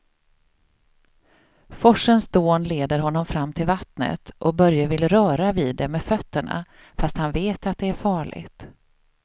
Forsens dån leder honom fram till vattnet och Börje vill röra vid det med fötterna, fast han vet att det är farligt.